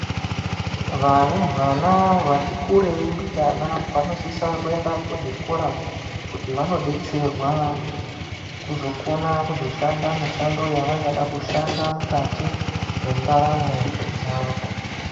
Varumbwana vatikurei mbijana vanosisa kuenda kuzvikora kundi vandodetserwa kuzokona kuzoshanda mushando yavangada kuzoshanda mukati mwendaramo dzavo.